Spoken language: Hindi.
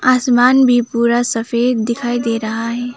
आसमान भी पूरा सफेद दिखाई दे रहा है।